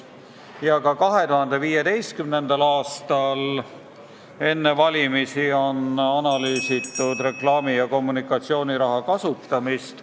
Ka enne 2015. aasta valimisi analüüsiti reklaami- ja kommunikatsiooniraha kasutamist.